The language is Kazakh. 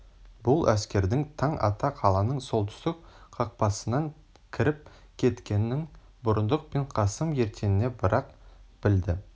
бұл әскердің таң ата қаланың солтүстік қақпасынан кіріп кеткенін бұрындық пен қасым ертеңіне бір-ақ білді